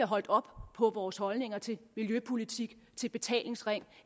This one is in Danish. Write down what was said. holdt op på vores holdninger til miljøpolitik til betalingsring